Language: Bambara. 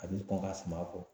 A bi kɔn ka suman kɔ